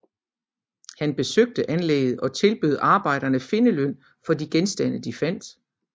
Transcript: Han besøgte anlægget og tilbød arbejderne findeløn for de genstande de fandt